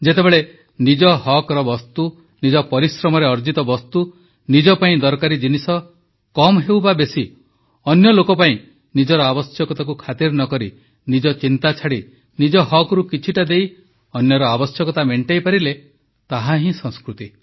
ଯେତେବେଳେ ନିଜ ହକ୍ର ବସ୍ତୁ ନିଜ ପରିଶ୍ରମରେ ଅର୍ଜିତ ବସ୍ତୁ ନିଜ ପାଇଁ ଦରକାରୀ ଜିନିଷ କମ୍ ହେଉ ବା ବେଶୀ ଅନ୍ୟ ଲୋକ ପାଇଁ ନିଜର ଆବଶ୍ୟକତାକୁ ଖାତିର ନକରି ନିଜ ଚିନ୍ତା ଛାଡି ନିଜ ହକରୁ କିଛିଟା ଦେଇ ଅନ୍ୟର ଆବଶ୍ୟକତା ମେଣ୍ଟାଇପାରିଲେ ତାହାହିଁ ସଂସ୍କୃତି